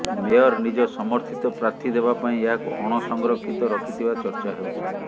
mayor ନିଜ ସମର୍ଥିତ ପ୍ରାର୍ଥୀ ଦେବା ପାଇଁ ଏହାକୁ ଅଣସଂରକ୍ଷିତ ରଖିଥିବା ଚର୍ଚ୍ଚା ହେଉଛି